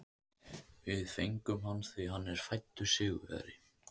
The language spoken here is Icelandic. Við fengum hann því að hann er fæddur sigurvegari.